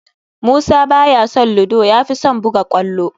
Musa ba ya son ludo, ya fi son buga kwallo